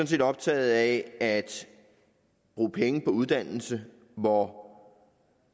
set optaget af at bruge penge på uddannelse hvor